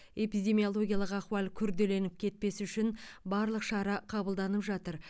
эпидемиологиялық ахуал күрделеніп кетпес үшін барлық шара қабылданып жатыр